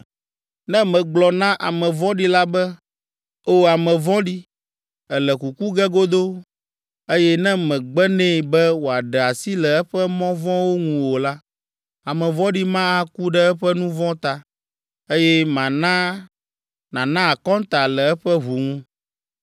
Ne megblɔ na ame vɔ̃ɖi la be, ‘O ame vɔ̃ɖi, èle kuku ge godoo,’ eye ne mègbe nɛ be wòaɖe asi le eƒe mɔ vɔ̃wo ŋu o la, ame vɔ̃ɖi ma aku ɖe eƒe nu vɔ̃ ta, eye mana nàna akɔnta le eƒe ʋu ŋu.